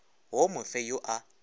wo mo fe yo a